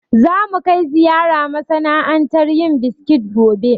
Za mu kai ziyara masana'antar yin biskit gobe